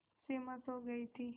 सिमा सो गई थी